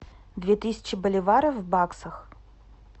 две тысячи боливаров в баксах